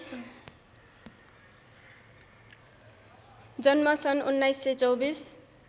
जन्म सन् १९२४